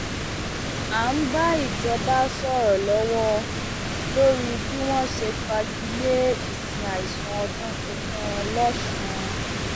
à ń bá ìjọba sọrọ lọwọ lórí bí wọn ṣe fagi lé ìsìn àìsùn ọdún tuntun lọsùn